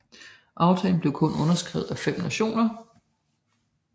Aftalen blev kun underskrevet af 5 nationer